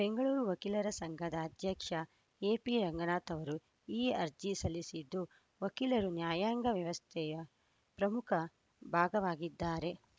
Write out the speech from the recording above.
ಬೆಂಗಳೂರು ವಕೀಲರ ಸಂಘದ ಅಧ್ಯಕ್ಷ ಎಪಿರಂಗನಾಥ್‌ ಅವರು ಈ ಅರ್ಜಿ ಸಲ್ಲಿಸಿದ್ದು ವಕೀಲರು ನ್ಯಾಯಾಂಗ ವ್ಯವಸ್ಥೆಯ ಪ್ರಮುಖ ಭಾಗವಾಗಿದ್ದಾರೆ